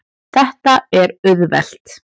Þetta er auðvelt.